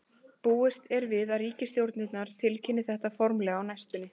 Búist er við að ríkisstjórnirnar tilkynni þetta formlega á næstunni.